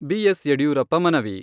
B S Yediyurappa ಮನವಿ.